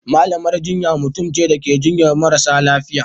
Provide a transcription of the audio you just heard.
malamar jinya mutumce Dake jinyar marasa lafiya